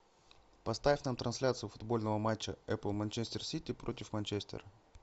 поставь нам трансляцию футбольного матча апл манчестер сити против манчестер